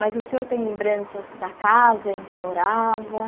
Mas o senhor tem lembranças da casa em que morava?